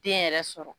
Den yɛrɛ sɔrɔ